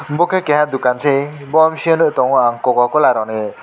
bo khe keha dokan se bo bisingo nuk tongo ang cocacola rok ni.